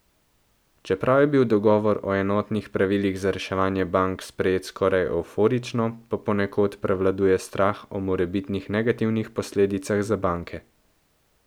Čeprav je bil dogovor o enotnih pravilih za reševanje bank sprejet skoraj evforično, pa ponekod prevladuje strah o morebitnih negativnih posledicah za banke.